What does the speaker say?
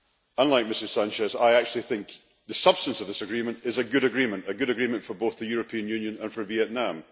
Unlike Ms Sánchez, I actually think the substance of this agreement is a good agreement a good agreement for both the European Union and for Vietnam.